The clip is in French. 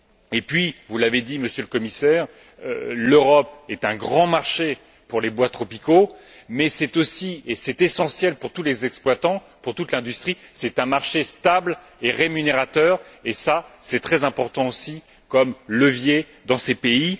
Et puis, vous l'avez dit, Monsieur le Commissaire, l'Europe est un grand marché pour les bois tropicaux, mais c'est aussi et c'est essentiel pour tous les exploitants, pour toute l'industrie un marché stable et rémunérateur et cela, c'est très important aussi comme levier dans ces pays.